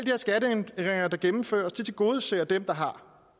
her skatteændringer der gennemføres tilgodeser dem der har